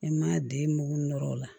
I ma den mugun nɔrɔ o la